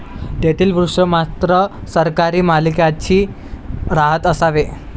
तेथील वृक्ष मात्र सरकारी मालकीचे राहत असावे?